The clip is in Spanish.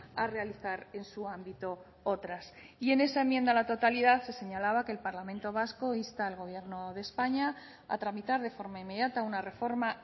a realizar en su ámbito otras y en esa enmienda a la totalidad se señalaba que el parlamento vasco insta al gobierno de españa a tramitar de forma inmediata una reforma